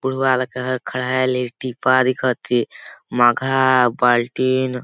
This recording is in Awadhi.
बुढ़वा लकड़ा हर खड़ा हे लेड़की पांव दिखथे मघा बाल्टीन--